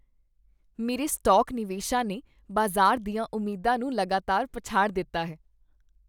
ਮੇਰੇ ਸਟਾਕ ਨਿਵੇਸ਼ਾਂ ਨੇ ਬਾਜ਼ਾਰ ਦੀਆਂ ਉਮੀਦਾਂ ਨੂੰ ਲਗਾਤਾਰ ਪਛਾੜ ਦਿੱਤਾ ਹੈ।